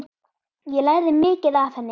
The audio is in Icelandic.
Ég lærði mikið af henni.